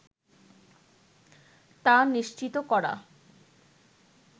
তা নিশ্চিত করা